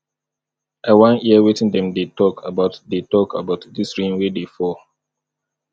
i wan hear wetin dem dey talk about dey talk about dis rain wey dey fall